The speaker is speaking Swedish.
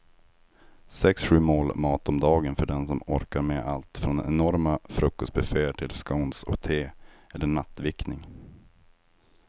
Sex, sju mål mat om dagen för den som orkar med allt från enorma frukostbufféer till scones och te eller nattvickning.